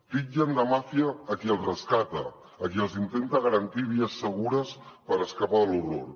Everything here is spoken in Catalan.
titllen de màfia a qui el rescata a qui els intenta garantir vies segures per escapar de l’horror